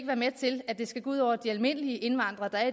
være med til at det skal gå ud over de almindelige indvandrere der